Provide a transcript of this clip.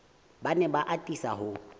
ba ne ba atisa ho